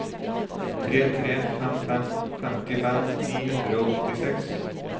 tre tre fem fem femtifem ni hundre og åttiseks